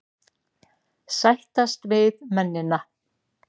Sættast við mennina.